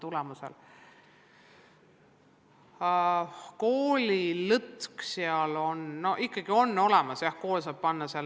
Koolil on aga siin lõtk ikkagi olemas, jah.